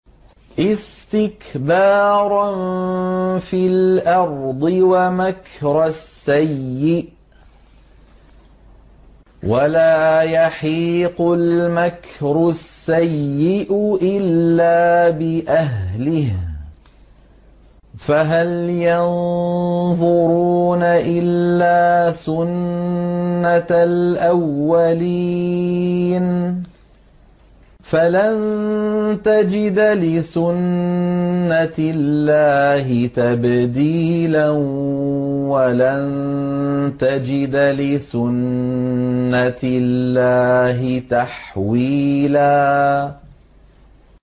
اسْتِكْبَارًا فِي الْأَرْضِ وَمَكْرَ السَّيِّئِ ۚ وَلَا يَحِيقُ الْمَكْرُ السَّيِّئُ إِلَّا بِأَهْلِهِ ۚ فَهَلْ يَنظُرُونَ إِلَّا سُنَّتَ الْأَوَّلِينَ ۚ فَلَن تَجِدَ لِسُنَّتِ اللَّهِ تَبْدِيلًا ۖ وَلَن تَجِدَ لِسُنَّتِ اللَّهِ تَحْوِيلًا